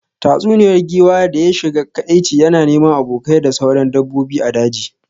Tatsuniyar giwa da ya shiga kadaici yana neman abokai da sauran dabbobi a daji